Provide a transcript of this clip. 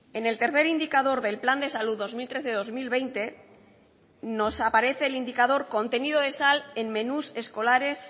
en el tercer indicador del plan de salud dos mil trece dos mil veinte nos aparece el indicador contenido de sal en menús escolares